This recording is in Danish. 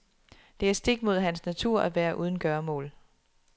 Det er stik mod hans natur at være uden gøremål.